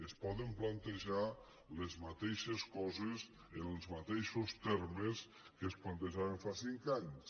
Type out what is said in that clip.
es poden plantejar les mateixes coses en els mateixos termes en què es plantejaven fa cinc anys